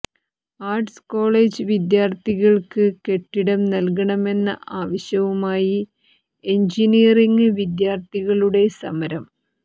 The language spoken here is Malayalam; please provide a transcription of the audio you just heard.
ആര്ട്സ് കോളേജ് വിദ്യാര്ത്ഥികള്ക്ക് കെട്ടിടം നല്കണമെന്ന ആവശ്യവുമായി എന്ജിനിയറിംഗ് വിദ്യാര്ത്ഥികളുടെ സമരം